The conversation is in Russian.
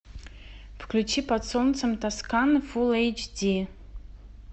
включи под солнцем тосканы фулл эйч ди